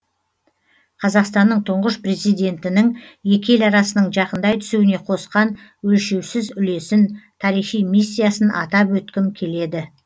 қазақстанның тұңғыш президентінің екі ел арасының жақындай түсуіне қосқан өлшеусіз үлесін тарихи миссиясын атап өткім келеді